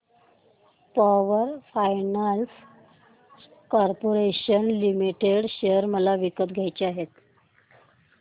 power finance corporation limited share मला विकत घ्यायचे आहेत